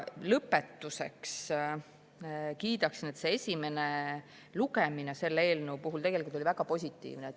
Lõpetuseks kiidan, et selle eelnõu esimene lugemine oli väga positiivne.